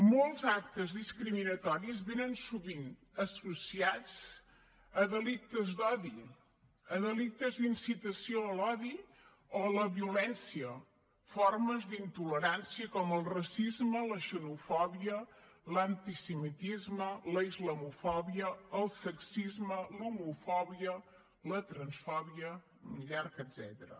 molts actes discriminatoris venen sovint associats a delictes d’odi a delictes d’incitació a l’odi o a la violència formes d’intolerància com el racisme la xenofòbia l’antisemitisme la islamofòbia el sexisme l’homofòbia la transfòbia i un llarg etcètera